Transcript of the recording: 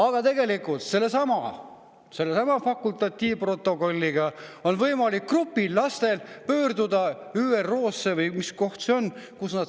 Aga tegelikult on sellesama fakultatiivprotokolli alusel grupil lastel võimalik pöörduda ÜRO-sse – või mis koht see on?